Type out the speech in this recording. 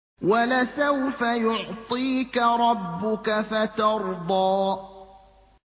وَلَسَوْفَ يُعْطِيكَ رَبُّكَ فَتَرْضَىٰ